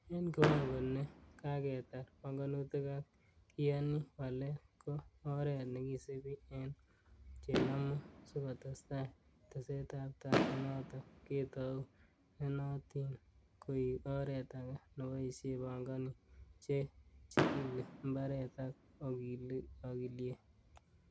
En kiwango ne kaketar panganutik ak kiyaanyi walet, ko oret nekisibi en che nomu sikotestai tesetabtai inoton ketou, nenotin koik oret age neboishie pongonik, che chigili mbaret ak okiliek.